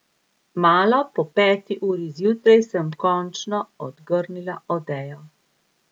Malo po peti uri zjutraj sem končno odgrnila odejo.